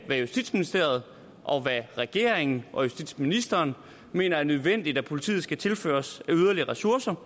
hvad justitsministeriet og regeringen og justitsministeren mener er nødvendigt at politiet skal tilføres af yderligere ressourcer og